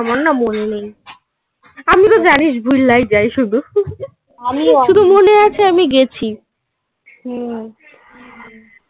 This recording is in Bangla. না মনে নেই. আমি তো জানিস ভুললাই যায় শুধু. আমি শুধু মনে আছে আমি গেছি